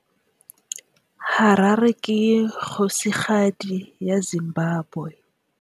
Harare ke kgosigadi ya Zimbabwe.